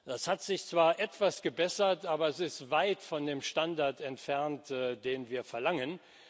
Das hat sich zwar etwas gebessert, aber es ist weit von dem Standard entfernt, den wir verlangen.